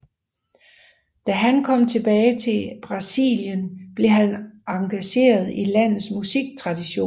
Da han kom tilbage til Brasilien blev han engageret i landets musiktradition